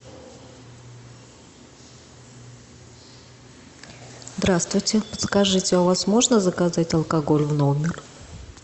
здравствуйте подскажите у вас можно заказать алкоголь в номер